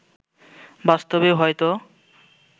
বাস্তবেও হয়তো